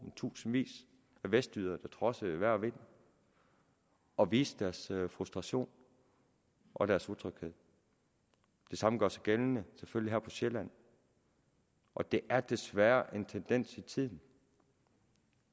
i tusindvis af vestjyder der trodsede vejr og vind og viste deres frustration og deres utryghed det samme gør sig selvfølgelig gældende her på sjælland og det er desværre en tendens i tiden